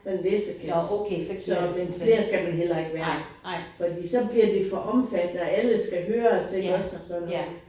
Sådan en læsekasse så men flere skal man heller ikke være. Fordi så bliver det for omfattende og alle skal høres iggås og alt sådan noget